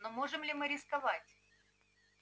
но можем ли мы рисковать